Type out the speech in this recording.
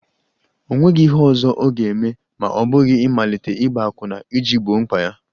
O nweghị ihe ọzọ ọ ga-eme ma ọ bụghị ịmalite ịgba akwụna iji gboo mkpa ha